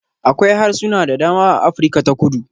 Akwai harsuna da dama a Afirka ta kudu.